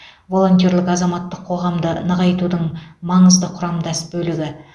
волонтерлік азаматтық қоғамды нығайтудың маңызды құрамдас бөлігі